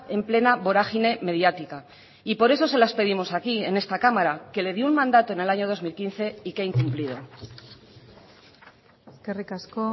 en plena vorágine mediática y por eso se las pedimos aquí en esta cámara que le dio un mandato en el año dos mil quince y que ha incumplido eskerrik asko